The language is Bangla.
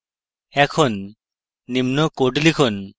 এখন নিম্ন code লিখুন